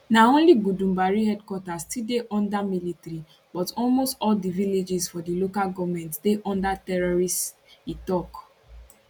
now na only gudumbari headquarters still dey under military but almost all di villages for di local goment dey under terrorists e tok